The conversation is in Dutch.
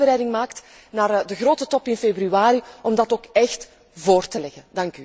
En als u een voorbereiding maakt voor de grote top in februari, om die ook echt voor te leggen.